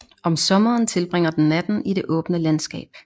Om sommeren tilbringer den natten i det åbne landskab